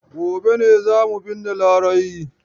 Gobe ne za mu binne Larai.